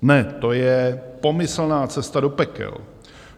Ne, to je pomyslná cesta do pekel.